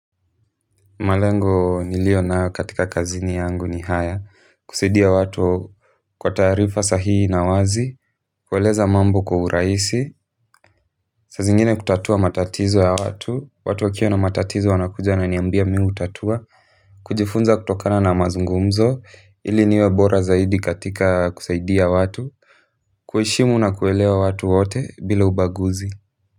Malengo nilio nayo katika kazini yangu ni haya, kusaidia watu kwa taarifa sahii na wazi, kueleza mambo kwa urahisi, saa zingine kutatua matatizo ya watu, watu wakiwa na matatizo wanakuja wananiambia mimi hutatua, kujifunza kutokana na mazungumzo, ili niwe bora zaidi katika kusaidia watu, kuheshimu na kuelewa watu wote bila ubaguzi.